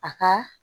A ka